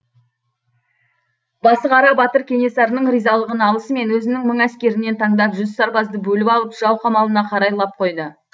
басықара батыр кенесарының ризалығын алысымен өзінің мың әскерінен таңдап жүз сарбазды бөліп алып жау қамалына қарай лап қойды